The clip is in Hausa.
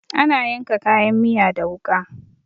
Ana yanka kayan miya da wuƙa.